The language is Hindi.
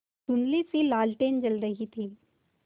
धुँधलीसी लालटेन जल रही थी